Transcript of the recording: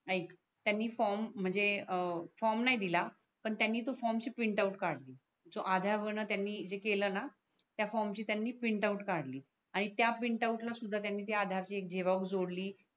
त्यांनी फॉर्म म्हणजे अं फॉर्म नाही दिल पण त्यांनी तो फॉर्म ची प्रिंटआउट काडली सओ आधार ला त्यांनी जे केल णा त्या फॉर्मची त्यांनी प्रिंटआउट काडली आणि त्या प्रिंटआउटला सुद्धा त्यांनी त्या आधारची झेरॉक्स जोडली